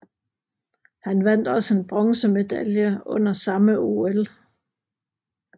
Han vandt også en bronzemedalje under samme OL